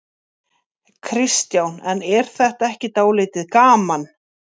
Kristján: En er þetta ekki dálítið gaman?